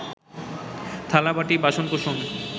থালাবাটি, বাসনকোসন